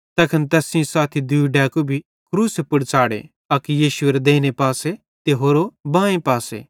तैखन तैस सेइं साथी दूई डैकू भी क्रूसे पुड़ च़ाढ़े अक यीशुएरे देइने पासे ते होरो बांए पासे